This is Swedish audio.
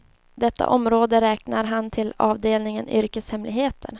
Detta område räknar han till avdelningen yrkeshemligheter.